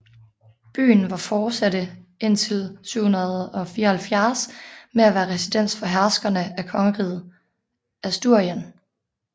Byen var fortsatte indtil 774 med at være residens for herskerne af Kongeriget Asturien